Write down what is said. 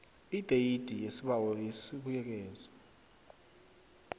ideyidi yesibawo yesibuyekezo